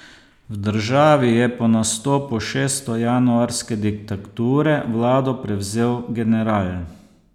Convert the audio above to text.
V državi je po nastopu šestojanuarske diktature vlado prevzel general.